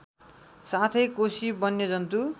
साथै कोशी वन्यजन्तु